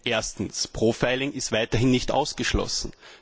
Erstens Profiling ist weiterhin nicht ausgeschlossen.